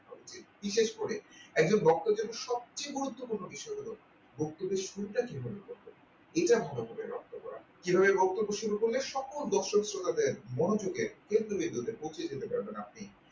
বিশেষ করে একজন বক্তা যেন সবচেয়ে গুরুত্বপূর্ণ বিষয় হলো বক্তব্যের শুরুটা কিভাবে করতে হয় এটা ভালো করে রক্ত করতে হবে কিভাবে বক্তব্য শুরু করলে সকল দর্শক শ্রোতাদের মনোযোগের কেন্দ্রবিন্দুতে পৌঁছে যেতে পারবেন আপনি।